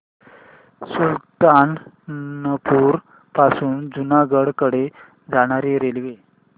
सुल्तानपुर पासून जुनागढ कडे जाणारी रेल्वे